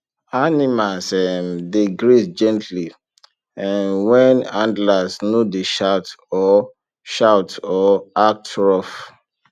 animals um dey graze gently um when handlers no dey shout or shout or act rough